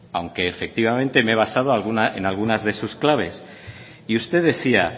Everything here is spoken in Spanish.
aunque efectivamente me he basado en alguna de sus claves y usted decía